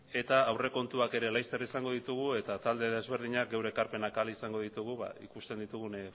eta aurrekontuak ere laster izango ditugu eta talde desberdinak geure ekarpenak ala izango ditugu ba ikusten ditugun